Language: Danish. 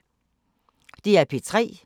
DR P3